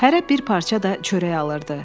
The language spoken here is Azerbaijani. Hərə bir parça da çörək alırdı.